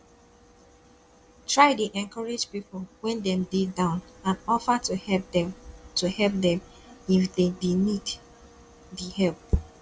try de encourage pipo when dem de down and offer to help dem to help dem if dey need di help